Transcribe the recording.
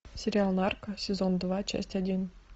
сериал нарко сезон два часть один